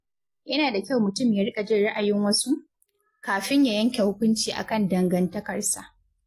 Yana da kyau mutum ya riƙa jin ra’ayin wasu, kafin yanke hukunci akan dangantakarsa.